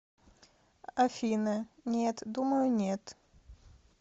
афина нет думаю нет